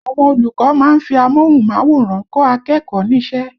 Àwọn olùkọ́ máa ń fi amóhùnmáwòrán kọ́ akẹ́kọ̀ọ́ ní ṣẹ́